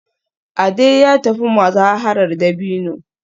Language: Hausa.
Ade ya tafi muzaharar dabino